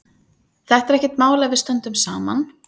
Þetta er ekkert mál ef við stöndum saman.